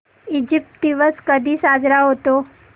Egypt दिवस कधी साजरा होतो